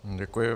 Děkuji.